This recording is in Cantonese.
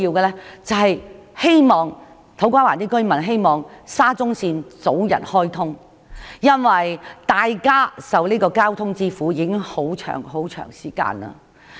現在土瓜灣居民最希望沙中線能早日開通，因為大家已經長時間受交通之苦。